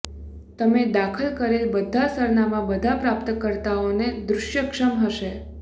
તમે દાખલ કરેલ બધા સરનામાં બધા પ્રાપ્તકર્તાઓને દૃશ્યક્ષમ હશે